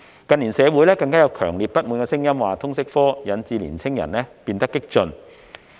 近年社會上更有強烈不滿聲音，指通識科導致年青人變得激進。